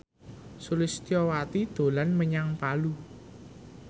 Sulistyowati dolan menyang Palu